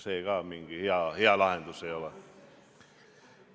See ka mingi hea lahendus ei ole.